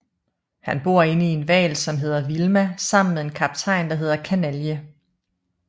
Han bor inde i en hval som hedder Vilma sammen med en kaptajn der hedder Kanalje